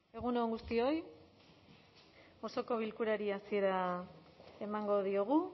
egun on guztioi osoko bilkurari hasiera emango diogu